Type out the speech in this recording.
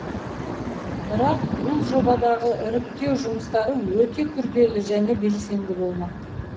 бірақ бұл жобадағы іріктеу жұмыстары өте күрделі және белсенді болмақ